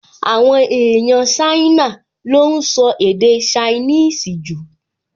Àwọn èèyàn Ṣáínà ló ún sọ èdè ṣainíìsì jù